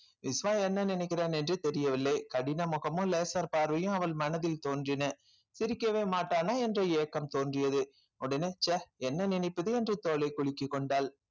விஸ்வா என்ன நினைக்கிறான் என்றே தெரியவில்லை கடின முகமும் laser பார்வையும் அவள் மனதில் தோன்றின சிரிக்கவே மாட்டானா என்ற ஏக்கம் தோன்றியது உடனே ச்சே என்ன நினைப்பது என்று தோலை குலுக்கிக் கொண்டாள்